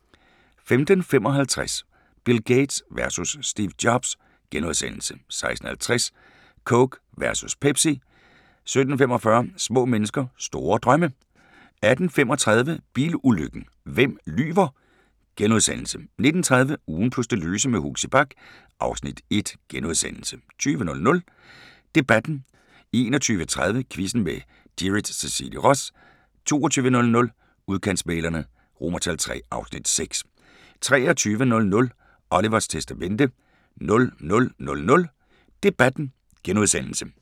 15:55: Bill Gates versus Steve Jobs * 16:50: Coke versus Pepsi 17:45: Små mennesker store drømme 18:35: Bilulykken – hvem lyver? * 19:30: Ugen plus det løse med Huxi Bach (Afs. 1)* 20:00: Debatten 21:30: Quizzen med Gyrith Cecilie Ross 22:00: Udkantsmæglerne III (Afs. 6) 23:00: Olivers testamente 00:00: Debatten *